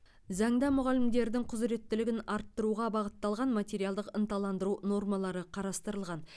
заңда мұғалімдердің құзыреттілігін арттыруға бағытталған материалдық ынталандыру нормалары қарастырылған